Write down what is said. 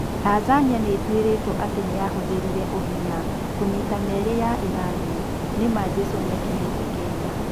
Tanzania nĩ ĩtuĩrĩtwo atĩ nĩ yahũthĩrire "ũhinya" kũnyiita meri ya Irani. Nĩ ma 'Jesũ niakinyete Kenya.